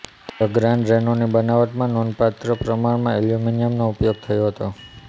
the grand રેનોની બનાવટમાં નોંધપાત્ર પ્રમાણમાં એલ્યુમિનિયમનો ઉપયોગ થયો હતો